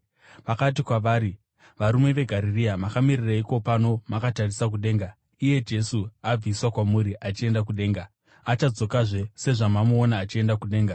Vakati kwavari, “Varume veGarirea, makamirireiko pano makatarisa kudenga? Iyeyu Jesu abviswa kwamuri achienda kudenga, achadzokazve sezvamamuona achienda kudenga.”